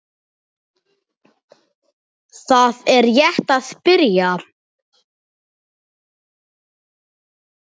Það er rétt að byrja.